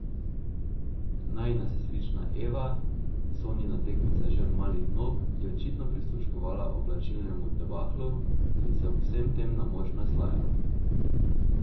Najina sestrična Eva, Sonjina tekmica že od mladih nog, je očitno prisluškovala oblačilnemu debaklu in se ob vsem tem na moč naslajala.